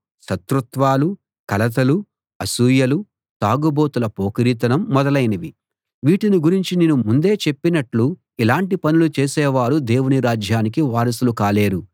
శత్రుత్వాలు కలతలు అసూయలు తాగుబోతుల పోకిరీతనం మొదలైనవి వీటిని గురించి నేను ముందే చెప్పినట్లు ఇలాంటి పనులు చేసే వారు దేవుని రాజ్యానికి వారసులు కాలేరు